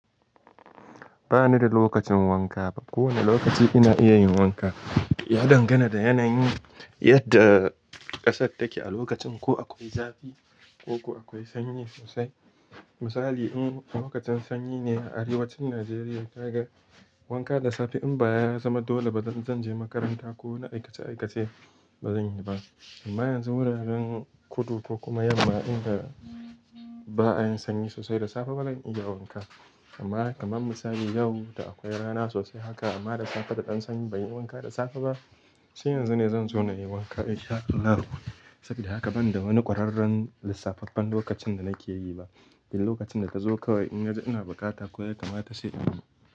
Ba ni da lokacin wanka ba. Ko wane lokaci ina iya yin wanka, ya dangana da yanayin yadda ƙasar take a lokacin. Ko akwai zafi ko akwai sanyi sosai. Misali, in lokacin sanyi ne a Arewacin Najeriya, ka ga wanka da safe in ba ya zama dole ba, zan je makaranta ko wani aikace-aikace ba zan yi ba. Amma yanzu wuraren kudu ko kuma yamma inda ba a yi sanyi sosai da safe ba zan iya wanka. Amma kamar misali yau da akwai rana sosai haka amma da safe da ɗan sanyi, ban yi wanka da safe ba. Sai yanzu ne zan zo na yi wanka in sha Allah. Saboda haka ban da wani ƙwararren lissafaffen lokacin da nake yi ba. Shine lokacin da ka zo kawai in na ga ina bukata ko kamata shine.